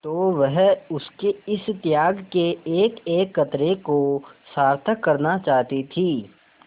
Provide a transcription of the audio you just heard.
तो वह उसके इस त्याग के एकएक कतरे को सार्थक करना चाहती थी